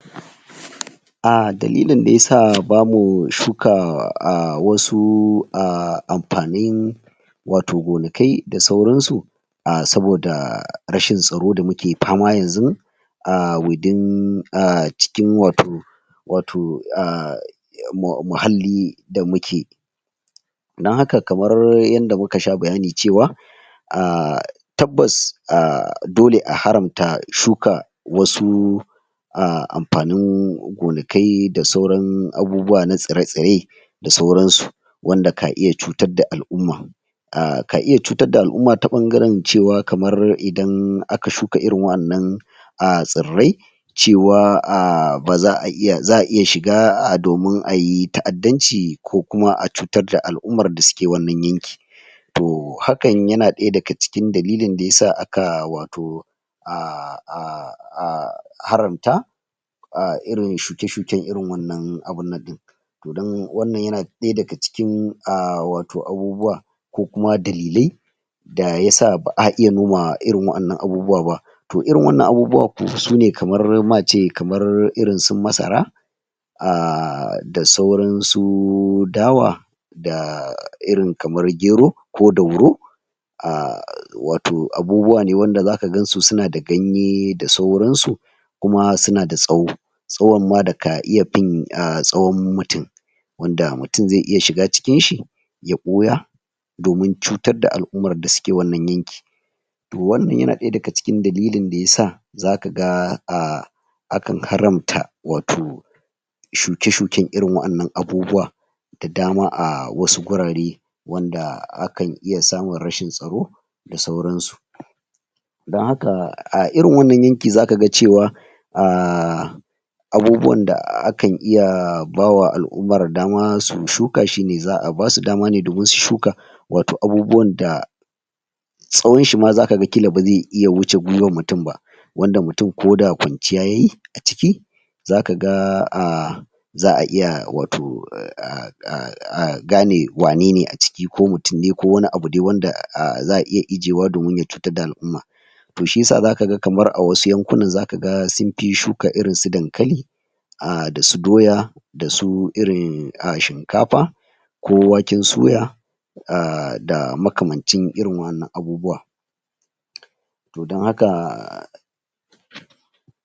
Ah dalilin da yasa bamu shuka ah wasu ah amfanin wato gonakai da sauransu ah saboda rashin tsaro da muke fama yanzun ah "within" ah cikin wato, wato, ah mu muhalli da muke. don haka kamar yanda muka sha bayani cewa ahh tabbas ah dole a haramta shuka wasu ah amfanin gonakai da sauran abubuwa na tsire-tsire da sauransu. wanda ka iya cutar da al'umma ah ka iya cutar da al'umma ta ɓangaren cewa kamar idan aka shuka irin waɗannan ah tsirrai cewa ah baza a iya, za'a iya shiga ah domin ayi ta'addanci ko kuma a cutar da al'ummar da suke wannan yanki To hakan yana ɗaya daga cikin dalilin da yasa aka wato ah ah ah ah haramta ah irin shuke-shuken irin wannan abun nan ɗin to don wannan yana ɗaya daga cikin ah wato abubuwa ko kuma dalilai da yasa ba'a iya noma irin waɗannan abubuwa ba to irin wannan abubuwa sune kamar ma ce kamar irin su masara ah da sauran su dawa da irin kamar gero ko dauro. ah wato abubuwa ne wanda zaka gansu suna da ganye da sauransu kuma suna da tsawo tsawon ma da ka iya fin ah tsawon mutum wanda mutum zai iya shiga cikinshi ya ɓuya domin cutar da al'ummar da suke wannan yanki To wannan yana ɗaya daga cikin dalilin da ya sa zakaga ah akan haramta wato, shuke-shuken irin waɗannan abubuwa da dama a wasu wurare wanda akan iya samun rashin tsaro da sauransu. Don haka a irin wannan yanki zakaga cewa ahh abubuwan da akan iya bawa al'ummar dama su shuka shine za'a basu dama ne domin su shuka wato abubuwan da tsawonshi ma zakaga ƙila bazai wuce gwiwar mutum ba wanda mutum koda kwanciya yayi a ciki zakaga ah za'a iya wato ah ah a gane wanene a ciki ko mutum ne ko wani abu dai wanda ah za'a iya ajiyewa domin ya cutar da al'umma. To shiyasa zakaga kamar a wasu yankunan zakaga sunfi shuka irin su dankali, ah da su doya, da su irin ah shinkafa, ko waken suya, ah da makamancin irin waɗannan abubuwa. To don haka